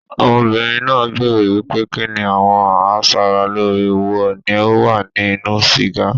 Ọmọbìnrin náà béèrè wípé kinni àwọn a sára lóore wo ni ó wà ní inú sìgá.